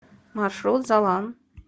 маршрут залан